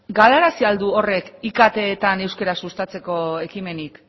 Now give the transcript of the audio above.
galarazi al du horrek iktetan euskara sustatzeko ekimenik